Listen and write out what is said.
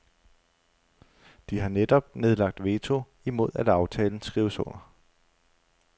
De har netop nedlagt veto imod at aftalen skrives under.